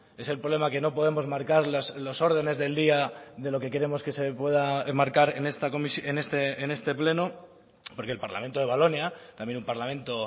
es el problema que no podemos marcar los órdenes del día de lo que queremos que se pueda enmarcar en este pleno porque el parlamento de valonia también un parlamento